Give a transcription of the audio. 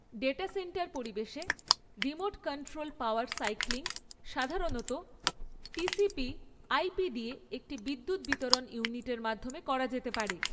Data centre পরিবেশে, remote control power cycling সাধারণত TCP IP দিয়ে একটি বিদ্যুৎ বিতরণ ইউনিটের মাধ্যমে করা যেতে পারে।